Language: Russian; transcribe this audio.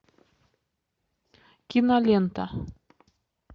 кинолента